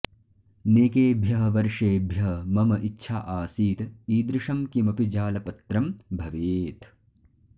नेकेभ्यः वर्षेभ्यः मम इच्छा आसीत् ईदृशं किमपि जालपत्रं भवेत्